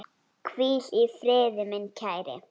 Hvíl í friði, minn kæri.